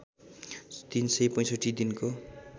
३ सय ६५ दिनको